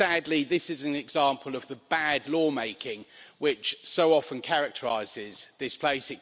Sadly, this is an example of the bad lawmaking, which so often characterises this place.